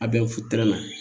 A bɛ na